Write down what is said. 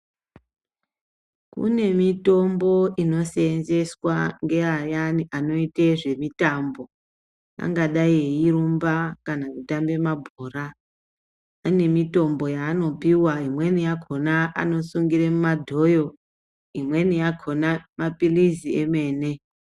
Kune mitombo inosenzeswa neayani anoita zvemitombo angadai veirumba kana kutamba mabhora ane mitombo yanopuwa imweni yemitombo madhoyo imweni yakona mapirizi emene.